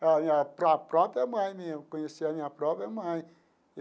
a minha pro própria mãe mesmo, conhecer a minha própria mãe.